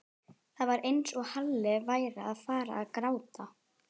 Það var eins og Halli væri að fara að gráta.